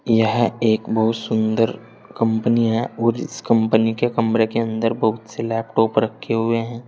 यह एक बहुत सुन्दर कंपनी है और इस कंपनी के कमरे के अंदर बहुत से लैपटॉप रखे हुए हैं।